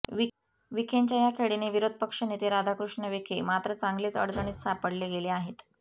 विखेंच्या या खेळीने विरोधपक्ष नेते राधाकृष्ण विखे मात्र चांगलेच अडचणीत सापडले गेले आहे